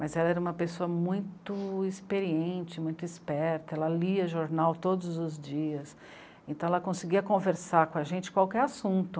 Mas ela era uma pessoa muito experiente, muito esperta, ela lia jornal todos os dias, então ela conseguia conversar com a gente qualquer assunto.